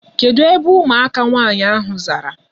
Kedụ ebe ụmụaka nwaanyị ahụ zara?